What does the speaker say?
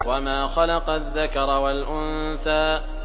وَمَا خَلَقَ الذَّكَرَ وَالْأُنثَىٰ